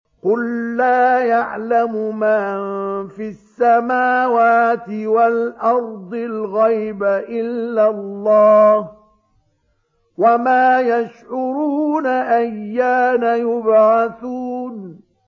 قُل لَّا يَعْلَمُ مَن فِي السَّمَاوَاتِ وَالْأَرْضِ الْغَيْبَ إِلَّا اللَّهُ ۚ وَمَا يَشْعُرُونَ أَيَّانَ يُبْعَثُونَ